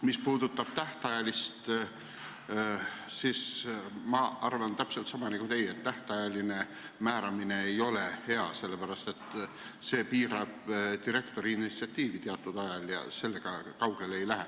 Mis puudutab tähtajalist määramist, siis ma arvan täpselt sama nagu teie, et tähtajaline määramine ei ole hea, sest see piirab direktori initsiatiivi teatud ajaga ja nii kaugele ei jõua.